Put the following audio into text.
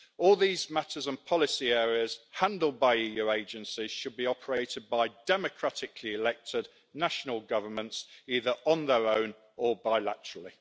All these matters and policy areas handled by EU agencies should be operated by democratically elected national governments, either on their own or bilaterally.